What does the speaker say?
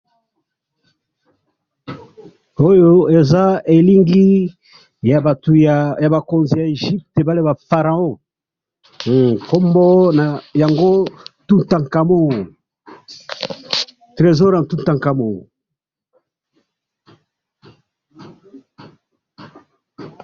oyo eza elingi ya batu ya bakonzi ya Egypt, ba pharaons kombo na yango Toutankhamon, tresor ya Toutankhamon